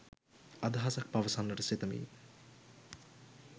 අදහසක් පවසන්නට සිතමි